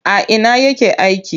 A ina yake aiki?